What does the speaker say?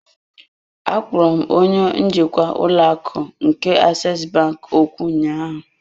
Akpọrọ m onye njikwa ụlọ akụ nke aseesi bank okwu ụnyaahụ.